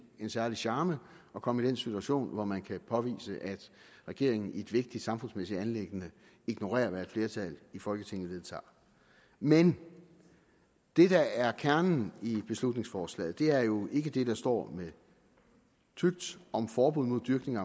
en særlig charme at komme i den situation hvor man kan påvise at regeringen i et vigtigt samfundsmæssigt anliggende ignorerer hvad et flertal i folketinget vedtager men det der er kernen i beslutningsforslaget er jo ikke det der står med tykt om forbud mod dyrkning af